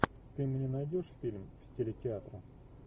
ты мне найдешь фильм в стиле театра